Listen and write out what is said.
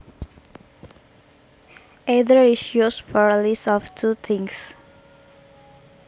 Either is used for a list of two things